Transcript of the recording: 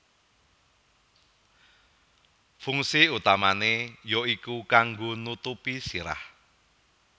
Fungsi utamané ya iku kanggo nutupi sirah